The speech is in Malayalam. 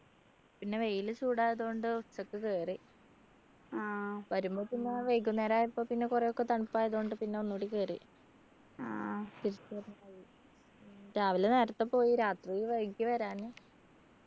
പിന്നെ വെയിൽ ചൂടായത് കൊണ്ട് ഉച്ചക്ക് കേറി വരുമ്പോ പിന്നെ വൈകുന്നേരം ആയപ്പോ പിന്നെ കുറെയൊക്കെ തണുപ്പായത് കൊണ്ട് പിന്നെ ഒന്നും കൂടി കേറി രാവിലെ നേരത്തെ പോയി രാത്രി വൈകി വരാന്